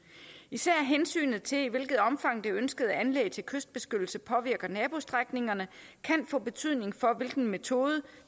især hensynet til i hvilket omfang det ønskede anlæg til kystbeskyttelse påvirker nabostrækningerne kan få betydning for hvilken metode